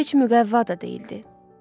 Bu heç müqəvva da deyildi.